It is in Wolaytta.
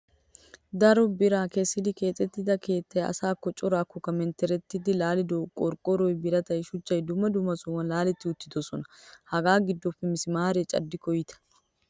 Daro bira kesissidi keexxettida keettaa asakko carkkokko menttereti laalidogee qorqoroy, biratay, shuchchay dumma dumma sohuwan laaletti uttidosona. Hagaa giddoppe mismaaree caddikko iita!